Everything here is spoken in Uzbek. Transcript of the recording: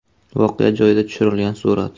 Voqea joyida tushirilgan surat.